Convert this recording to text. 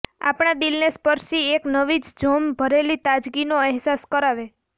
આપણા દિલને સ્પર્શી એક નવી જ જોમ ભરેલી તાજગીનો એહસાસ કરાવે